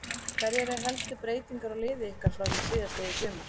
Hverjar eru helstu breytingar á liði ykkar frá því síðastliðið sumar?